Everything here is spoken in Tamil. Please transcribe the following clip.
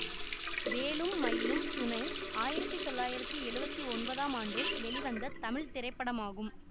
வேலும் மயிலும் துணை ஆயிரத்தி தொள்ளாயிரத்தி எழுவத்தி ஒன்பதாம் ஆண்டு வெளிவந்த தமிழ் திரைப்படமாகும்